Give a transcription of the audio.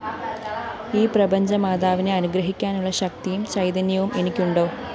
ഈ പ്രപഞ്ചമാതാവിനെ അനുഗ്രഹിക്കാനുള്ള ശക്തിയും ചൈതന്യവും എനിക്കുണ്ടോ